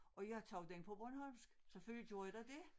Og jeg tog den på bornholmsk selvfølgelig gjorde jeg da det